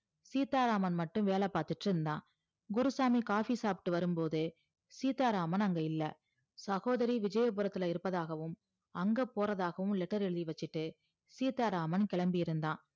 சீத்தா ராமன் மட்டும் வேல பாத்துகிட்டு இருந்தா குருசாமி coffee சாப்டு வரும்போதே சீத்தா ராமன் அங்க இல்ல சகோதரி விஜயபுரத்துல இருப்பதாகவும் அங்க போறதாகவும் letter எழுதி வச்சிட்டு சீத்தா ராமன் கிளம்பி இருந்தான்